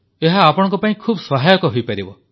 ଏହା ଆପଣଙ୍କ ପାଇଁ ଖୁବ ସହାୟକ ହୋଇପାରିବ